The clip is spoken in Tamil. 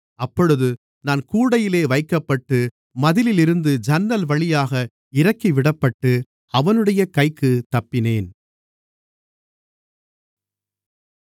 அப்பொழுது நான் கூடையிலே வைக்கப்பட்டு மதிலிலிருந்த ஜன்னல் வழியாக இறக்கிவிடப்பட்டு அவனுடைய கைக்குத் தப்பினேன்